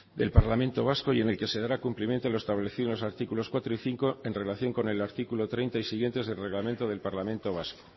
del parlamento vasco y en la que se dará cumplimiento a lo establecido en los artículos cuatro y cinco en relación con el artículo treinta y siguientes del reglamento del parlamento vasco